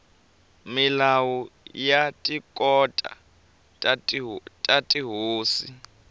milawu ya tikhoto ta tihosi